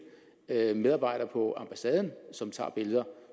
er medarbejdere på ambassaden som tager billeder